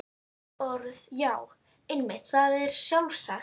Orð.- Já, einmitt, það er sjálfsagt.